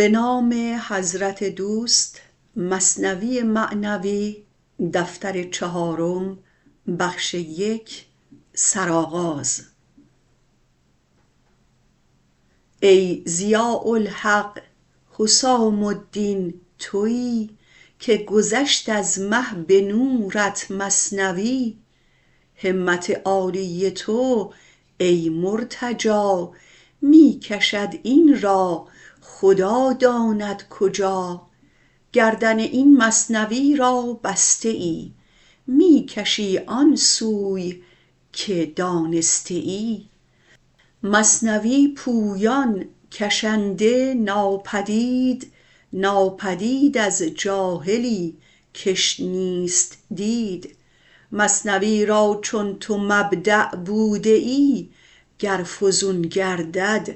ای ضیاء الحق حسام الدین توی که گذشت از مه به نورت مثنوی همت عالی تو ای مرتجا می کشد این را خدا داند کجا گردن این مثنوی را بسته ای می کشی آن سوی که دانسته ای مثنوی پویان کشنده ناپدید ناپدید از جاهلی کش نیست دید مثنوی را چون تو مبدا بوده ای گر فزون گردد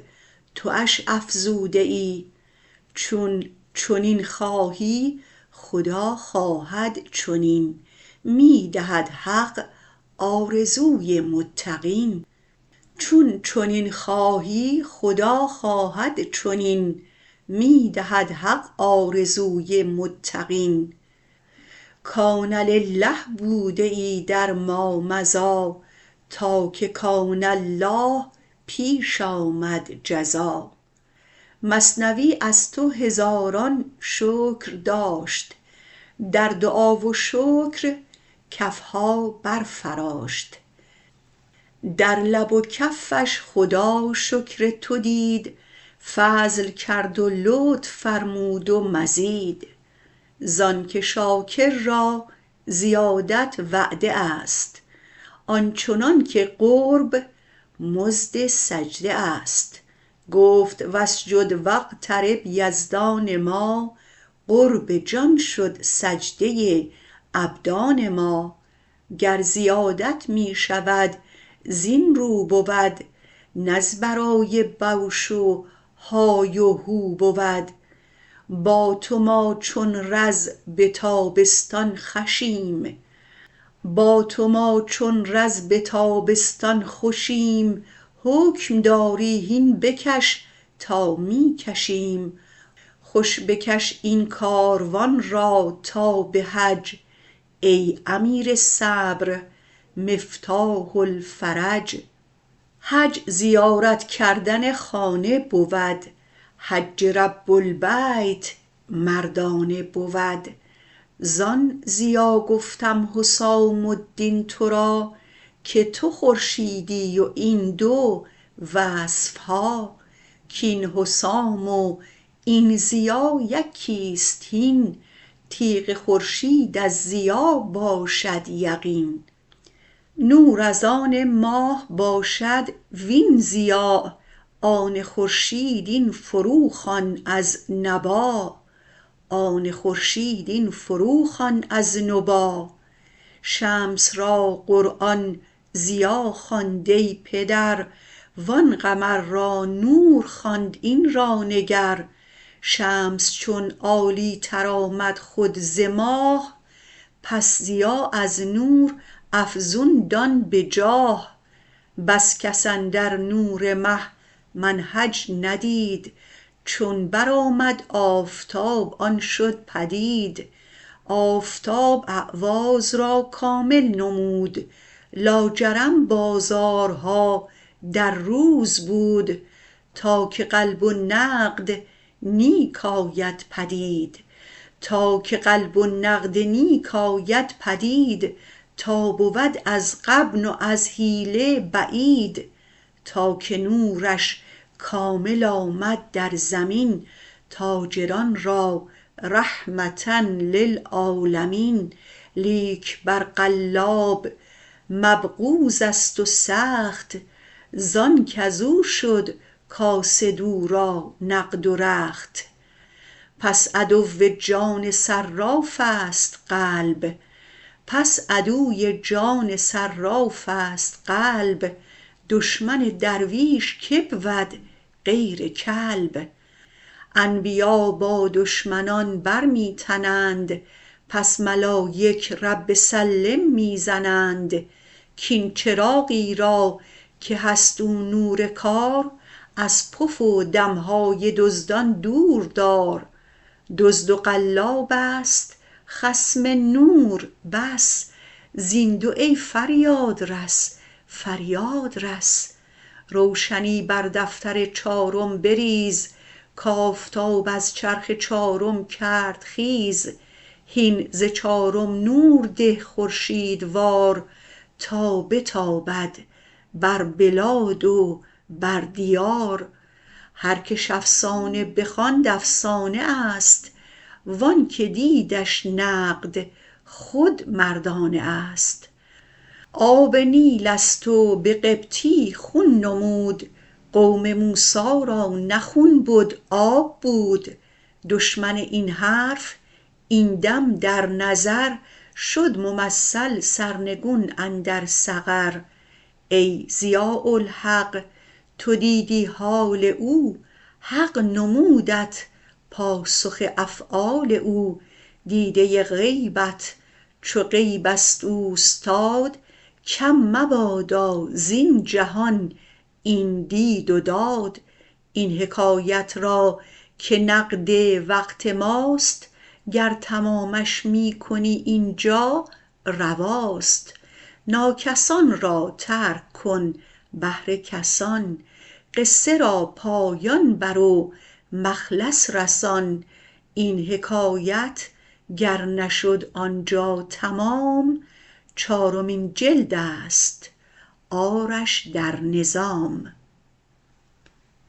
توش افزوده ای چون چنین خواهی خدا خواهد چنین می دهد حق آرزوی متقین کان لله بوده ای در ما مضی تا که کان الله پیش آمد جزا مثنوی از تو هزاران شکر داشت در دعا و شکر کفها بر فراشت در لب و کفش خدا شکر تو دید فضل کرد و لطف فرمود و مزید زانک شاکر را زیادت وعده است آنچنانک قرب مزد سجده است گفت واسجد واقترب یزدان ما قرب جان شد سجده ابدان ما گر زیادت می شود زین رو بود نه از برای بوش و های و هو بود با تو ما چون رز به تابستان خوشیم حکم داری هین بکش تا می کشیم خوش بکش این کاروان را تا به حج ای امیر صبر مفتاح الفرج حج زیارت کردن خانه بود حج رب البیت مردانه بود زان ضیا گفتم حسام الدین ترا که تو خورشیدی و این دو وصفها کین حسام و این ضیا یکیست هین تیغ خورشید از ضیا باشد یقین نور از آن ماه باشد وین ضیا آن خورشید این فرو خوان از نبا شمس را قرآن ضیا خواند ای پدر و آن قمر را نور خواند این را نگر شمس چون عالی تر آمد خود ز ماه پس ضیا از نور افزون دان به جاه بس کس اندر نور مه منهج ندید چون برآمد آفتاب آن شد پدید آفتاب اعواض را کامل نمود لاجرم بازارها در روز بود تا که قلب و نقد نیک آید پدید تا بود از غبن و از حیله بعید تا که نورش کامل آمد در زمین تاجران را رحمة للعالمین لیک بر قلاب مبغوضست و سخت زانک ازو شد کاسد او را نقد و رخت پس عدو جان صرافست قلب دشمن درویش کی بود غیر کلب انبیا با دشمنان بر می تنند پس ملایک رب سلم می زنند کین چراغی را که هست او نور کار از پف و دمهای دزدان دور دار دزد و قلابست خصم نور بس زین دو ای فریادرس فریاد رس روشنی بر دفتر چارم بریز کآفتاب از چرخ چارم کرد خیز هین ز چارم نور ده خورشیدوار تا بتابد بر بلاد و بر دیار هر کش افسانه بخواند افسانه است وآنک دیدش نقد خود مردانه است آب نیلست و به قبطی خون نمود قوم موسی را نه خون بد آب بود دشمن این حرف این دم در نظر شد ممثل سرنگون اندر سقر ای ضیاء الحق تو دیدی حال او حق نمودت پاسخ افعال او دیده غیبت چو غیبست اوستاد کم مبادا زین جهان این دید و داد این حکایت را که نقد وقت ماست گر تمامش می کنی اینجا رواست ناکسان را ترک کن بهر کسان قصه را پایان بر و مخلص رسان این حکایت گر نشد آنجا تمام چارمین جلدست آرش در نظام